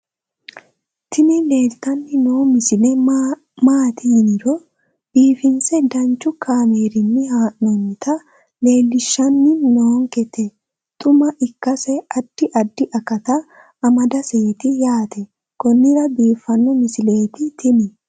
tini leeltanni noo misile maaati yiniro biifinse danchu kaamerinni haa'noonnita leellishshanni nonketi xuma ikkase addi addi akata amadaseeti yaate konnira biiffanno misileeti tini